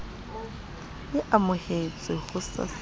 e amohetswe ho sasa le